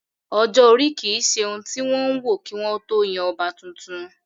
Ọjọ́-orí ò kí ń se ohun tí wọ́n ń wò kí wọ́n ó tó yan ọba tuntun